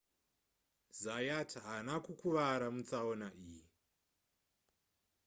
zayat haana kukuvara mutsaona iyi